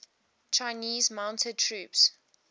chinese mounted troops